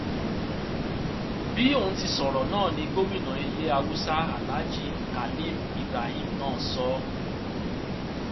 bí òun ti sọrọ náà ni gómìnà ilé haúsá aláàjì khalim ibrahim náà sọ ọ